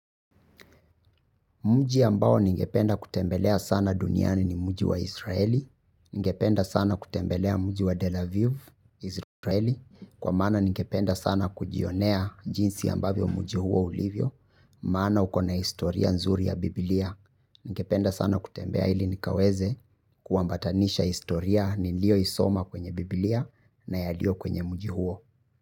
Mji ambao ningependa kutembelea sana duniani ni mji wa Israeli, ningependa sana kutembelea mji wa Delaviv, Israeli, kwa maana ningependa sana kujionea jinsi ambavyo mji huo ulivyo, maana ukona historia nzuri ya Biblia. Ningependa sana kutembea ili nikaweze kuambatanisha historia niliyo isoma kwenye Biblia na yaliyo kwenye mji huo.